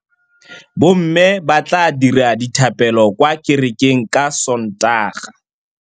Bommê ba tla dira dithapêlô kwa kerekeng ka Sontaga.